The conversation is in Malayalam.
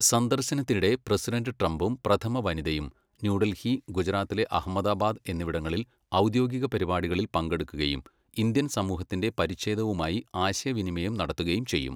സന്ദർശനത്തിനിടെ പ്രസിഡന്റ് ട്രംപും, പ്രഥമ വനിതയും ന്യൂഡൽഹി, ഗുജറാത്തിലെ അഹമ്മദാബാദ് എന്നിവിടങ്ങളിൽ ഔദ്യോഗിക പരിപാടികളിൽ പങ്കെടുക്കുകയും, ഇന്ത്യൻ സമൂഹത്തിന്റെ പരിച്ഛേദവുമായി ആശയവിനിമയം നടത്തുകയും ചെയ്യും.